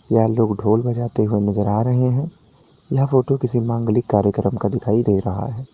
यह लोग ढोल बजाते हो नजर आ रहे हैं यह फोटो किसी मांगलिक कार्यक्रम का दिखाई दे रहा है।